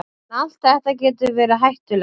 En allt þetta getur verið hættulegt.